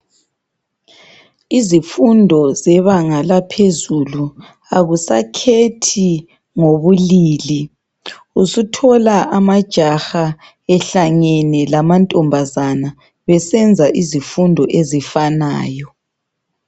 Izifundo zebanga laphezulu, akusakhethi ngobulili. Usuthola amajaha ehlangene lamantombazana besenza izifundo ezifanayo.